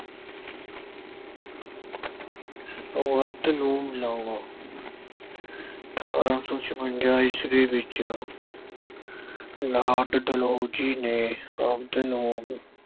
ਅਠ੍ਹਾਰਾਂ ਸੌ ਛਪੰਜਾ ਈਸਵੀ ਵਿੱਚ Lord Dalhousie ਨੇ